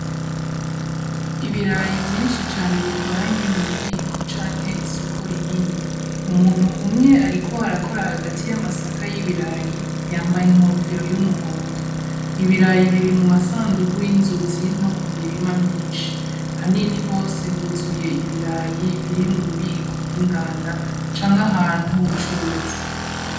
Ibirayi vyinshi cane bikoranye mu bubiko canke isoko rinini umuntu umwe, ariko arakora hagati y'amasaka y'ibirayi yambaye inkofero y'umuhondo ibirayi biri mu masandugu y’inzuzi no ku mirima myinshi hanini hose huzuye ibirayi biri mu bubiko bw inganda canke ahantu h'ubucuruzi.